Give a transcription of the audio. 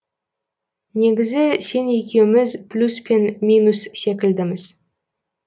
негізі сен екеуміз плюс пен минус секілдіміз